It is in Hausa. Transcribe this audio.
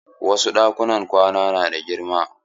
Wasu ɗakunan kwana na da girma.